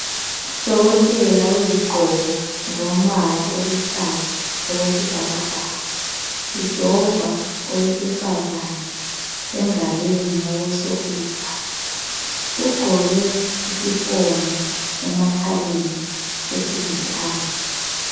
Udokotela wezigqoko zombala oluhlaza okwesibhakabhaka. Ujova owesifazana engalweni yokosokudla. Ugqoke isifonyo emakhaleni esilithanga.